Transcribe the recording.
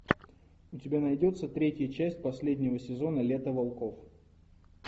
у тебя найдется третья часть последнего сезона лето волков